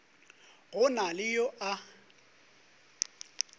go na le yo a